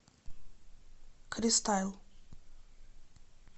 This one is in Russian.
кристайл